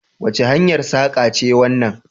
Wace hanyar saƙa ce wannan?